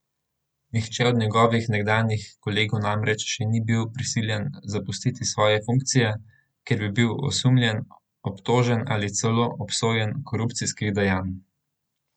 Nihče od njegovih nekdanjih kolegov namreč še ni bil prisiljen zapustiti svoje funkcije, ker bi bil osumljen, obtožen ali celo obsojen korupcijskih dejanj.